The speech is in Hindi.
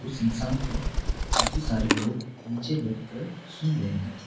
उस इंसान को काफी सारे लोग नीचे बैठ कर सुन रहे हैं।